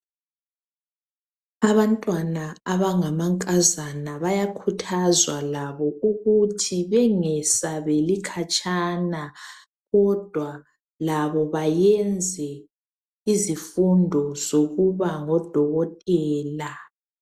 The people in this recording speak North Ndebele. Abantwana abangamankazana bayakhuthazwa labo ukuthi bengesabeli khatshana kodwa labo bayenza izifundo zokuba ngodokotela.